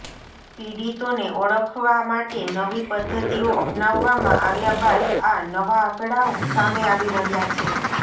પીડિતોને ઓળખવા માટે નવી પદ્ધતિઓ અપનાવવામાં આવ્યા બાદ આ નવા આંકડાઓ સામે આવી રહ્યા છે